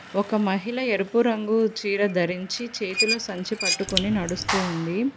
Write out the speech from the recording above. ఒక మహిళ ఎరుపు రంగు చీర ధరించి చేతులో సంచి పట్టుకొని నడుస్తుంది.